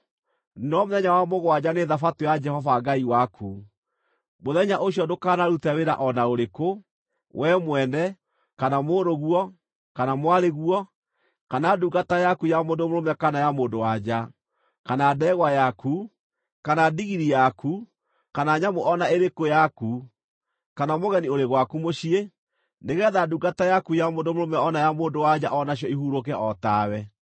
no mũthenya wa mũgwanja nĩ Thabatũ ya Jehova Ngai waku. Mũthenya ũcio ndũkanarute wĩra o na ũrĩkũ, wee mwene, kana mũrũguo, kana mwarĩguo, kana ndungata yaku ya mũndũ mũrũme kana ya mũndũ-wa-nja, kana ndegwa yaku, kana ndigiri yaku kana nyamũ o na ĩrĩkũ yaku, kana mũgeni ũrĩ gwaku mũciĩ, nĩgeetha ndungata yaku ya mũndũ mũrũme o na ya mũndũ-wa-nja o nacio ihurũke o tawe.